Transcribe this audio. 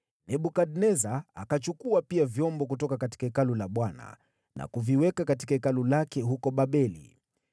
Nebukadneza akachukua pia vyombo kutoka Hekalu la Bwana na kuviweka katika hekalu lake huko Babeli.